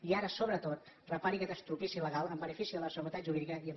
i ara sobretot repari aquest estropicio legal en benefici de la seguretat jurídica i en benefici de tothom